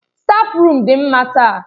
Stáfruum dị mma taa.